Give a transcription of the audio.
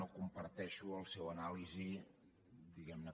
no comparteixo la seva anàlisi diguemne